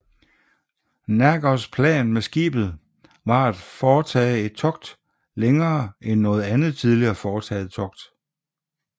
Nergers plan med skibet var at foretage et togt længere end noget andet tidligere foretaget togt